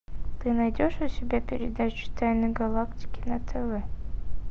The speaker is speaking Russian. ты найдешь у себя передачу тайны галактики на тв